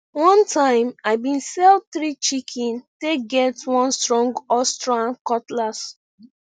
one time i been sell three chicken take get one strong austrian cutlass